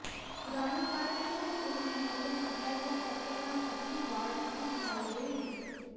ਪੁਰਾਣੀ ਕਾਰਟ ਤੋਂ ਇਸ ਨੂੰ ਮੁਅੱਤਲ ਕੀਤਾ ਗਿਆ ਚੱਕਰ ਨਾਲ ਅਸਲੀ ਵਾੜ ਅਸਲੀ ਦਿਖਾਈ ਦੇਵੇਗੀ